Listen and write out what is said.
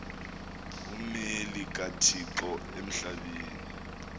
ngummeli kathixo emhlabeni